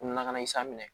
Nunna kana sa minɛ